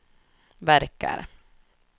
verkar